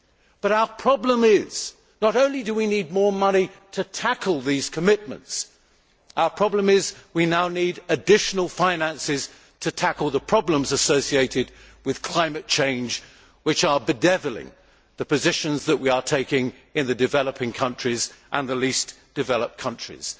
But our problem is that, not only do we need more money to tackle these commitments, we now need additional finances to tackle the problems associated with climate change which are bedevilling the positions that we are taking in the developing countries and the least developed countries.